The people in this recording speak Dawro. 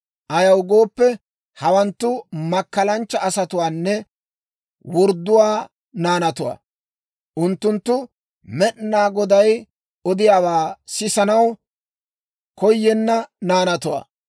Ayaw gooppe, hawanttu makkalanchcha asatuwaanne wordduwaa naanatuwaa; unttunttu Med'inaa Goday odiyaawaa sisanaw koyenna naanatuwaa.